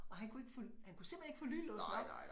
Og han kunne ikke få han kunne simpelthen ikke få lynlåsen op